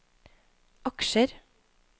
aksjer